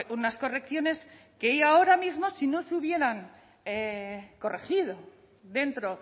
unas correcciones que ahora mismo si no se hubieran corregido dentro